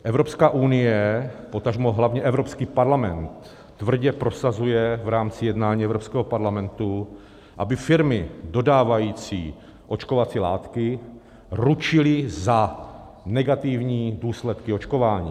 Evropská unie, potažmo hlavně Evropský parlament tvrdě prosazuje v rámci jednání Evropského parlamentu, aby firmy dodávající očkovací látky ručily za negativní důsledky očkování.